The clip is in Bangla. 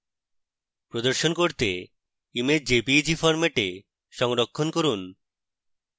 প্রদর্শন করতে image jpeg ফরম্যাটে সংরক্ষণ করি